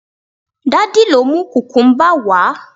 daddy lọ mu kukumba wa